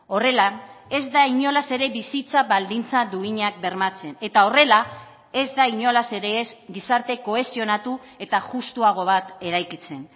horrela ez da inolaz ere bizitza baldintza duinak bermatzen eta horrela ez da inolaz ere ez gizarte kohesionatu eta justuago bat eraikitzen